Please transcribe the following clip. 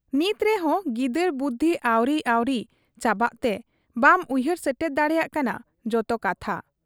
ᱱᱤᱛ ᱨᱮᱦᱚᱸ ᱜᱤᱫᱟᱹᱨ ᱵᱩᱫᱷᱤ ᱟᱹᱣᱨᱤ ᱟᱹᱣᱨᱤ ᱪᱟᱵᱟᱜ ᱛᱮ ᱵᱟᱢ ᱩᱭᱦᱟᱹᱨ ᱥᱮᱴᱮᱨ ᱫᱟᱲᱮᱭᱟᱜ ᱠᱟᱱᱟ ᱡᱚᱛᱚ ᱠᱟᱛᱷᱟ ᱾